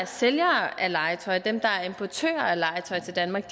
sælger legetøj og dem der importerer legetøj til danmark